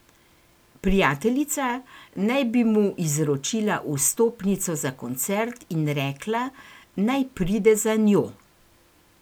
Prijateljica naj bi mu izročila vstopnico za koncert in rekla, naj pride za njo.